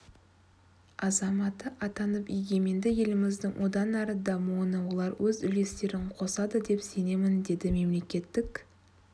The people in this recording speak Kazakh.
азаматы атанып егеменді еліміздің одан әрі дамуына олар өз үлестерін қосады деп сенемін деді мемлекеттік